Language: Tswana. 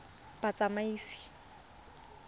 batsamaisi